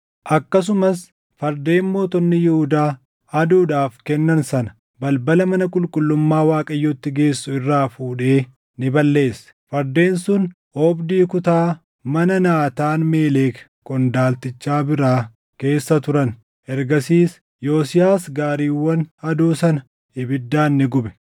Akkasumas fardeen mootonni Yihuudaa aduudhaaf kennan sana balbala mana qulqullummaa Waaqayyootti geessu irraa fuudhee ni balleesse. Fardeen sun oobdii kutaa mana Naataan-Meelek qondaaltichaa biraa keessa turan. Ergasiis Yosiyaas gaariiwwan aduu sana ibiddaan ni gube.